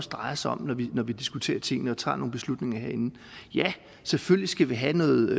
drejer sig om når vi diskuterer tingene og tager nogle beslutninger herinde selvfølgelig skal vi have noget